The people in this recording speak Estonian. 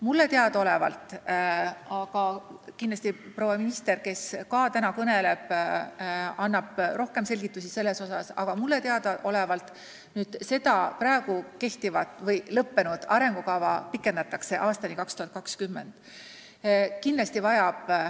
Mulle teadaolevalt – kindlasti proua minister, kes täna ka kõneleb, annab selle kohta rohkem selgitusi – pikendatakse lõppenud arengukava aastani 2020.